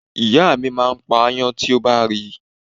Ìyá mi máa ń pa aáyán tí ó bá rí.